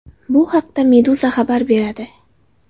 Bu haqda Meduza xabar beradi.